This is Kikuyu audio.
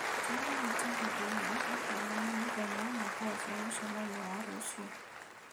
Tĩmĩra Mutinda i-mīrū ũkĩonaĩa mũthenya na thaa cia mũcemanio wa rũciũ